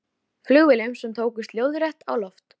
Flugvélum sem tókust lóðrétt á loft.